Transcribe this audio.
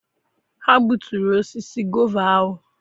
Ha gbuturu osisi gova ahụ.